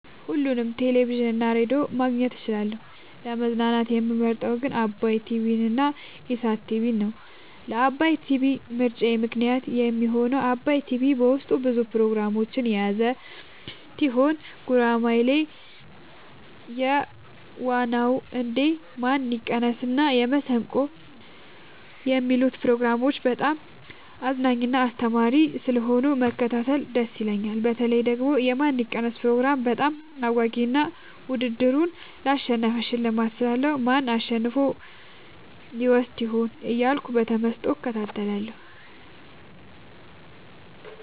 ሁሉንም ቴሌቪዥን እና ሬዲዮ ማግኘት እችላለሁ: : ለመዝናናት የምመርጠዉ ግን ዓባይ ቲቪንና ኢሣት ቲቪን ነዉ። ለዓባይ ቲቪ ምርጫየ ምክንያት የሚሆነኝ ዓባይ ቲቪ በዉስጡ ብዙ ፕሮግራሞችን የያዘ ቲሆን ጉራማይሌ የዋ ዉ እንዴ ማን ይቀነስ እና መሠንቆ የሚሉትን ፕሮግራሞች በጣም አዝናኝና አስተማሪ ስለሆኑ መከታተል ደስ ይለኛል። በተለይ ደግሞ የማን ይቀነስ ፕሮግራም በጣም አጓጊ እና ዉድድሩን ላሸነፈ ሽልማት ስላለዉ ማን አሸንፎ ይወስድ ይሆን እያልኩ በተመስጦ እከታተላለሁ።